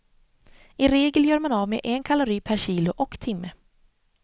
I regel gör man av med en kalori per kilo och timme.